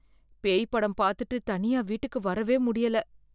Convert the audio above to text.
பேய் படம் பார்த்துட்டு தனியா வீட்டுக்கு வரவே முடியல.